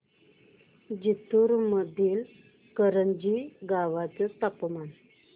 जिंतूर मधील करंजी गावाचे तापमान